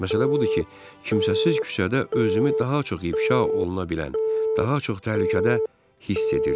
Məsələ budur ki, kimsəsiz küçədə özümü daha çox ifşa oluna bilən, daha çox təhlükədə hiss edirdim.